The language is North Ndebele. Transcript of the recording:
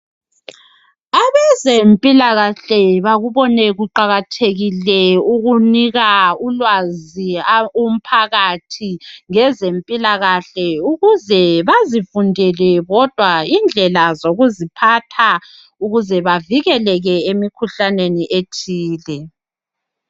Abezempilakahle bakubone kuqakathekile ukunika ulwazi umphakathi ngezempilakahle ukuze bazifundele bodwa indlela zokuziphatha ukuze bavikeleke emkhuhlaneni ethile.